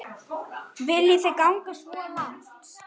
Viljið þið ganga svo langt?